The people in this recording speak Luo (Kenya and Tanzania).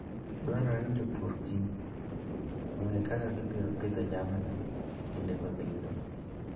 Dwarore ni jopur kich kaka gibiro pidho jamni e kinde mabiro.